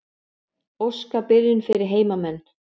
Óska byrjun fyrir heimamenn.